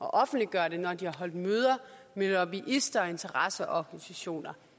og offentliggøre det når de har holdt møder med lobbyister og interesseorganisationer